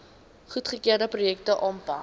goedgekeurde projekte aanpak